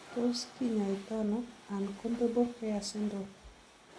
Tot kinyaitaano uncombable hair syndrome?